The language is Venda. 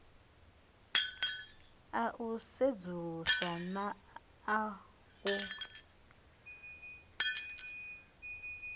a u sedzulusa na u